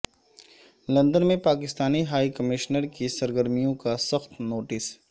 London میں Pakistani high commissioner کی سرگرمیوں کا سخت نوٹس